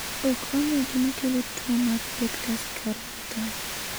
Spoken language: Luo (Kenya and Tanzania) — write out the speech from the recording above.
Ok ong'e gima kelo tuwo mar pectus carinatum.